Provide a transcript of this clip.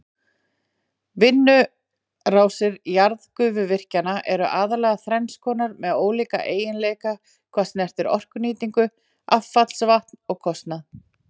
Vinnslurásir jarðgufuvirkjana eru aðallega þrenns konar með ólíka eiginleika hvað snertir orkunýtingu, affallsvatn og kostnað.